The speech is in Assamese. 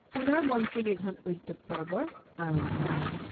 পুনৰ মন্ত্ৰীনিধন উদ্যোগ পৰ্বৰ আৰম্ভ হল।